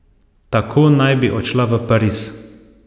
Tako naj bi odšla v Pariz.